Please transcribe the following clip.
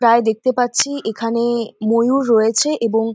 প্রায় দেখতে পাচ্ছি এখানে ময়ুর রয়েছে এবং--